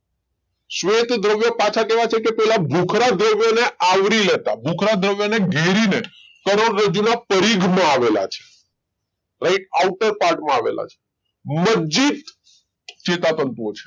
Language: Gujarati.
શ્વેત દ્રવ્યો પાછા કેવા છે કે પેલા ભૂખરદ દ્રવ્યો ને આવરી લેતા ભુખરુંદ દ્રવ્ય ને ઘેરી લે કરોડરજ્જુ પરિઘ માં આવેલા છે રાઈટ આંતર આવેલા છે મજ્જિત ચેતાતંતુ ઓ છે.